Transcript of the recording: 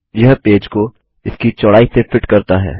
यह पेज को इसकी चौड़ाई से फिट करता है